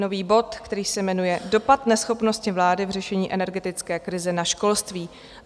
Nový bod, který se jmenuje Dopad neschopnosti vlády v řešení energetické krize na školství.